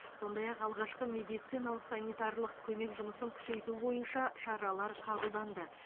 сондай ақ алғашқы медициналық санитарлық көмек жұмысын күшейту бойынша шаралар қабылданды